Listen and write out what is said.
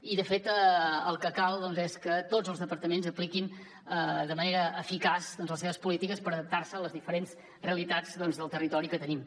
i de fet el que cal és que tots els departaments apliquin de manera eficaç les seves polítiques per adaptar se a les diferents realitats del territori que tenim